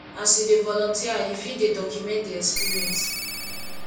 as you dey volunteer you fit dey document di experience